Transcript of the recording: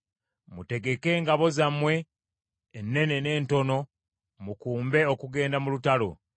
“Mutegeke engabo zammwe, ennene n’entono mukumbe okugenda mu lutalo!